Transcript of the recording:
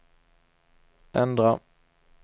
ändra